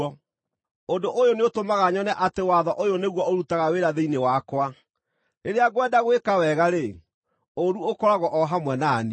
Ũndũ ũyũ nĩũtũmaga nyone atĩ watho ũyũ nĩguo ũrutaga wĩra thĩinĩ wakwa: Rĩrĩa ngwenda gwĩka wega-rĩ, ũũru ũkoragwo o hamwe na niĩ.